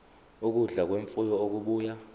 ukudla kwemfuyo okubuya